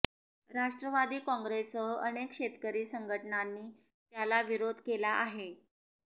राष्ट्रवादी काँग्रेससह अनेक शेतकरी संघटनांनी त्याला विरोध केला आहे